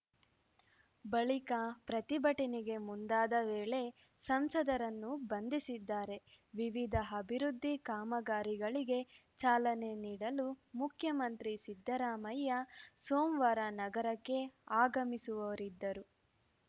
ಬಳಿಕ ಪ್ರತಿಭಟನೆಗೆ ಮುಂದಾದ ವೇಳೆ ಸಂಸದರನ್ನು ಬಂಧಿಸಿದ್ದಾರೆ ವಿವಿಧ ಅಭಿವೃದ್ಧಿ ಕಾಮಗಾರಿಗಳಿಗೆ ಚಾಲನೆ ನೀಡಲು ಮುಖ್ಯಮಂತ್ರಿ ಸಿದ್ದರಾಮಯ್ಯ ಸೋಮವಾರ ನಗರಕ್ಕೆ ಆಗಮಿಸುವವರಿದ್ದರು